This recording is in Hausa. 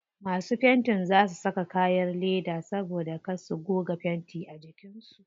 Masu fentin za su saka kayan leda dan kar su goga fenti a jikin su.